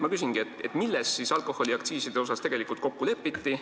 Ma küsingi, milles siis alkoholiaktsiise arutades tegelikult kokku lepiti.